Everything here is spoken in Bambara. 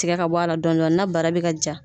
Tigɛ ka bɔ ala dɔɔni dɔɔni na bara bɛ ka ja.